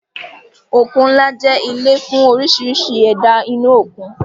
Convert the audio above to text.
Òkun ńlá jẹ́ ilé fún oríṣiríṣi ẹ̀dá inú òkun